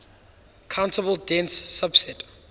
countable dense subset